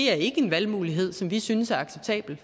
er en valgmulighed som vi synes er acceptabel